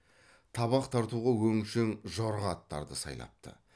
табақ тартуға өңшең жорға аттарды сайлапты